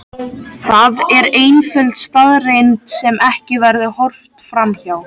Það er einföld staðreynd sem ekki verður horft fram hjá.